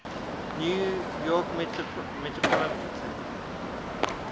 new york metropolitan